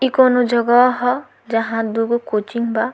ई कोनो जगह ह जहां दुगो कोचिंग बा।